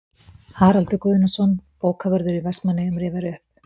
Haraldur Guðnason, bókavörður í Vestmannaeyjum, rifjar upp